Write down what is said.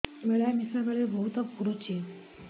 ମିଳାମିଶା ବେଳେ ବହୁତ ପୁଡୁଚି